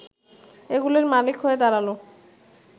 এগুলির মালিক হয়ে দাঁড়ালো